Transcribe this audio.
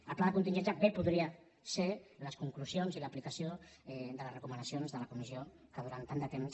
el pla de contingència bé podrien ser les conclusions i l’aplicació de les recomanacions de la comissió que durant tant de temps